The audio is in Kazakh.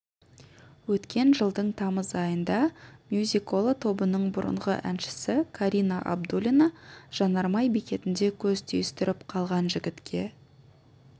өткен жылдың тамыз айында мюзикола тобының бұрынғы әншісі карина абдуллина жанармай бекетінде көз түйістіріп қалған жігітке